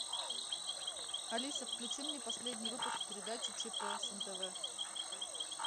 алиса включи мне последний выпуск передачи чп с нтв